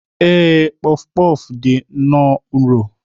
Ee, puff puff dị nnọọ nro